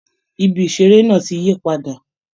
Ibi iṣere náà tí yí padà.